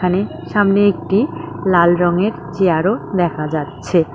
সামনে একটি লাল রঙের চেয়ারও দেখা যাচ্ছে।